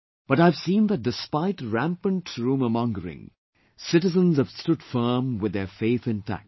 But I have seen that despite rampant rumour mongering, citizens have stood firm with their faith intact